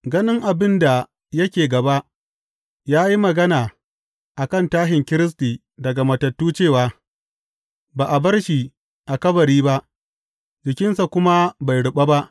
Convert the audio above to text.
Ganin abin da yake gaba, ya yi magana a kan tashin Kiristi daga matattu cewa, ba a bar shi a kabari ba, jikinsa kuma bai ruɓa ba.